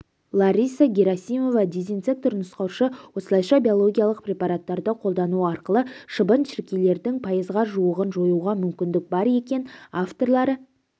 лариса герасимова дезинсектор-нұсқаушы осылайша биологиялық препараттарды қолдану арқылы шыбын-шіркейлердің пайызға жуығын жоюға мүмкіндік бар екен авторлары